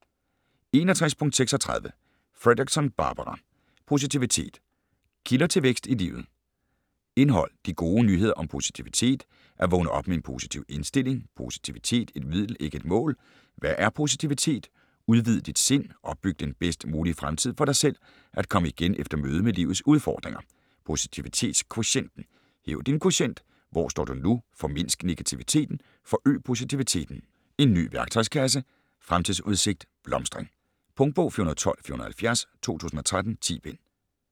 61.36 Fredrickson, Barbara: Positivitet: kilder til vækst i livet Indhold: De gode nyheder om positivitet (At vågne op med en positiv indstilling, Positivitet: et middel ikke et mål, Hvad er positivitet?, Udvid dit sind, Opbyg den bedst mulige fremtid for dig selv, At komme igen efter mødet med livets udfordringer, Posivititetskvotienten), Hæv din kvotient (Hvor står du nu, Formindsk negativiteten, Forøg positiviteten, En ny værktøjskasse, Fremtidsudsigt, blomstring). Punktbog 412470 2013. 10 bind.